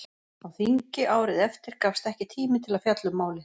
Á þingi árið eftir gafst ekki tími til að fjalla um málið.